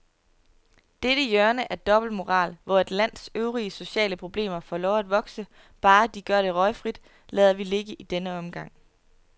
Dette hjørne af dobbeltmoral, hvor et lands øvrige sociale problemer får lov at vokse, bare de gør det røgfrit, lader vi ligge i denne omgang.